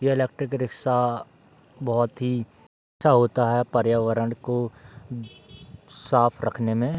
ये electric rickshaw बहुत ही अच्छा होता है पर्यावरण को साफ रखने में।